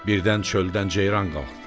Birdən çöldən ceyran qalxdı.